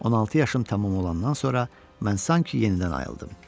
16 yaşım tamam olandan sonra mən sanki yenidən ayıldım.